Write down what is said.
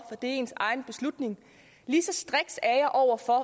det er ens egen beslutning lige så striks er jeg over for